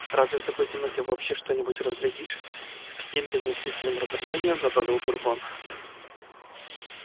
разве в такой темноте вообще что-нибудь разглядишь с каким-то неестественным раздражением добавил бурбон